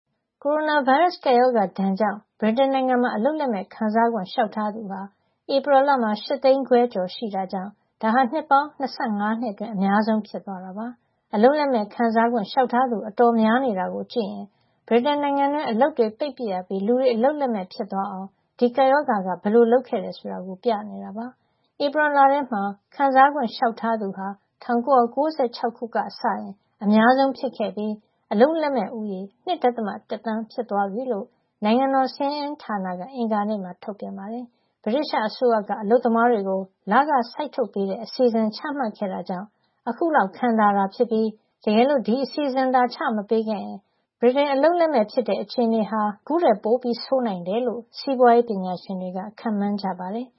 ကိုရိုနာဗိုင်းရပ်စ် ကပ်ရောဂါဒဏ်ခံရတာကြောင့် ဗြိတိန်နိုင်ငံမှာ အလုပ်လက်မဲ့ခံစားခွင့် လျှောက်ထားသူဟာ ဧပြီလမှာ ၈၅၆,၀၀၀ ရှိခဲ့တာကြောင့် ဒါဟာ နှစ်ပေါင်း ၂၅ အတွင်း အများဆုံး ဖြစ်သွားတာပါ။ အလုပ်လက်မဲ့ခံစားခွင့် လျှောက်ထားသူအတော်များနေတာကို ကြည့်ရင် ဗြိတိန်နိုင်ငံအတွင်း အလုပ်တွေပိတ်ပစ်ရပြီး လူတွေ အလုပ်လက်မဲ့ ဖြစ်သွားအောင် ဒီကပ်ရောဂါက ဘယ်လိုလုပ်ခဲ့တယ် ဆိုတာကို ပြနေတာပါ။ ဧပြီလထဲမှာ ခံစားခွင့် လျှောက်ထားသူဟာ ၁၉၉၆ ခုနှစ်ကနေစကြည့်ရင် အများဆုံး ဖြစ်ခဲ့ပြီး အလုပ်လက်မဲ့ ဦးရေ ၂.၁ သန်း ဖြစ်သွားပြီလို့ နိုင်ငံတော် စာရင်းအင်းဌာန ONS က အင်္ဂါနေ့မှာ ထုတ်ပြန်ပါတယ်။ ဗြိတိသျှအစိုးရက အလုပ်သမားတွေကို လခစိုက်ထုတ်ပေးတဲ့ အစီအစဉ် ချမှတ်ခဲ့တာကြောင့် အခုလောက် ခံသာတာဖြစ်ပြီး တကယ်လို့ ဒီအစီစဉ်သာ ချမပေးခဲ့ရင် ဗြိတိန်အလုပ်လက်မဲ့ဖြစ်တဲ့ အခြေနေဟာ အခုထက် ပိုဆိုးနိုင်တယ်လို့ စီးပွါးရေးပညာရှင်တွေက ခန့်မှန်း ကြပါတယ်။